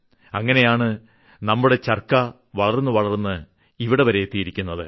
അങ്ങനെയാണ് നമ്മുടെ ചർക്ക വളർന്ന് വളർന്ന് ഇവിടെവരെ എത്തിയിരിക്കുന്നത്